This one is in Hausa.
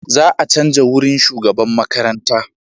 Za a canja wurin shugaban makarantar.